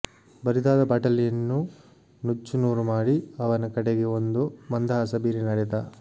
ಬರಿದಾದ ಬಾಟಲಿಯನ್ನು ನುಚ್ಚು ನೂರು ಮಾಡಿ ಅವನ ಕಡೆಗೆ ಒಂದು ಮಂದಹಾಸ ಬೀರಿ ನಡೆದ